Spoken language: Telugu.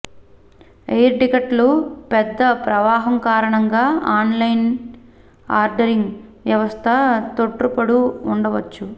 ఎయిర్ టిక్కెట్లు పెద్ద ప్రవాహం కారణంగా ఆన్లైన్ ఆర్దరింగ్ వ్యవస్థ తోట్రుపడు ఉండవచ్చు